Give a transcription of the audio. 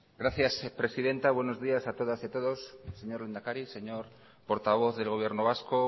gracias presidenta buenos días a todas y a todos señor lehendakari señor portavoz del gobierno vasco